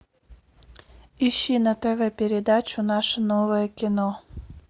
ищи на тв передачу наше новое кино